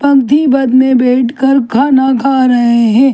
अंथीपद में बैठकर खाना खा रहे हैं।